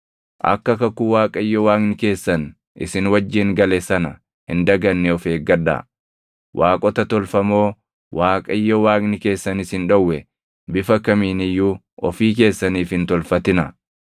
Akka kakuu Waaqayyo Waaqni keessan isin wajjin gale sana hin daganne of eeggadhaa; waaqota tolfamoo Waaqayyo Waaqni keessan isin dhowwe bifa kamiin iyyuu ofii keessaniif hin tolfatinaa.